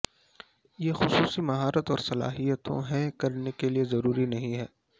یہ خصوصی مہارت اور صلاحیتوں ہے کرنے کے لئے ضروری نہیں ہے